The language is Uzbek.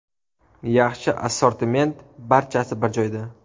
Yaxshi assortiment, barchasi bir joyda.